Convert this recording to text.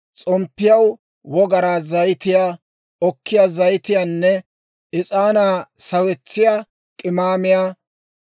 s'omppiyaw wogaraa zayitiyaa, okkiyaa zayitiyaanne is'aanaa sawetsiyaa k'imaamiyaa;